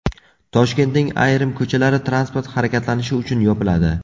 Toshkentning ayrim ko‘chalari transport harakatlanishi uchun yopiladi.